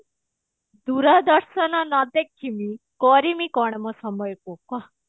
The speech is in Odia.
ଦୂରଦର୍ଶନ ନ ଦେଖିବି କରିମି କଣ ମୋ ସମୟକୁ କହ